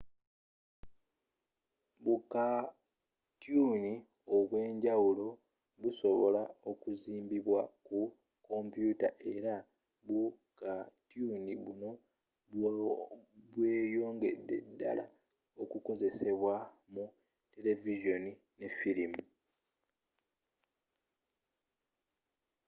bukatyuuni obwenjawulo busobola okuzimbibwa ku kompyuta era bukatyuni buno bweyongede ddala okukozesebwa mu televizooni ne filimu